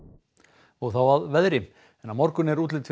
og þá að veðri en á morgun er útlit fyrir